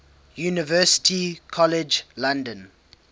university college london